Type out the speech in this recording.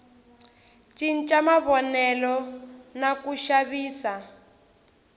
cinca mavonelo na ku xavisa